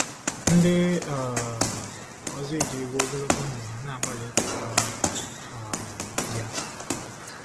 Ndị um ọzọ ejiriwo ogologo ndụ ha na-agbalị ịchọta um ya.